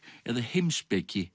eða heimspeki